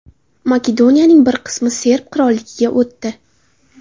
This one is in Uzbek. Makedoniyaning bir qismi Serb qirolligiga o‘tdi.